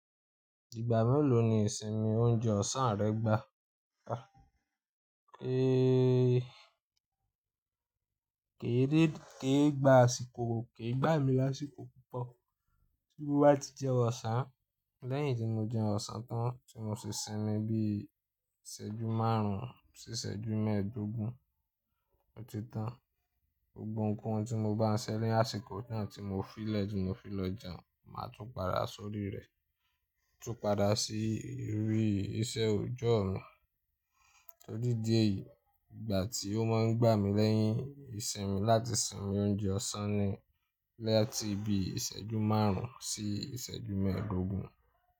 Ìgbà mélòó ni ìsinmi oúnjẹ ọ̀sán rẹ gbá? Kèèé, kéègbà àsìkò, kéègbà mí lásìkò púpọ̀, bi mo bá ti jẹun ọ̀sán, lẹ́yìn ti mo jẹun ọ̀sán tán tí mo sì sinmi bí i ìṣẹ́jú márùn-ún sí ìṣẹ́jú mẹ́ẹ̀ẹ́dógún, ọ̀tí tán. Gbogbo nǹkan tí mo bá ń ṣẹ́ lẹ́yìn àsìkò náà tí mo fi lẹ́jù mo fi lọ jẹun, màá tún padà sórí rẹ̀, tún padà sí ìrírí iṣẹ́ òòjọ́ mi. Fun idi eyìí, ìgbà tí ó máa ń gbà mí lẹ́yìn ìsinmi láti sinmi oúnjẹ ọ̀sán ni látì bí ìṣẹ́jú márùn-ún sí ìṣẹ́jú mẹ́ẹ̀ẹ́dógún.